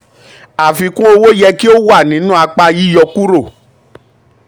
àfikún owó yẹ um kí ó wà nínú apá yíyọkurò.